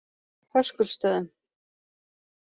Höskuldsstöðum